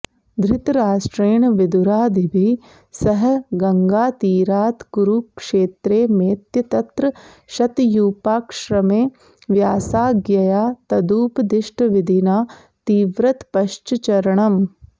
धृतराष्ट्रेण विदुरादिभिः सह गङ्गातीरात्कुरुक्षेत्रमेत्य तत्र शतयूपाश्रमे व्यासाज्ञया तदुपदिष्टविधिना तीव्रतपश्चरणम्